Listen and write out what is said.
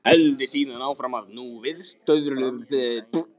Héldi síðan áfram og nú viðstöðulaust